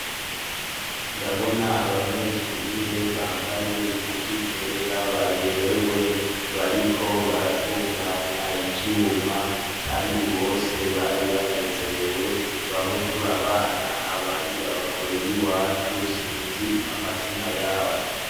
Ndabona abanyeshure bambaye impuzu zera baberewe bariko baratunganya ivyuma, kandi bose bari banezerewe. Bamwe turabana, abandi baba kure y'iwacu, sinzi amazina y'abo.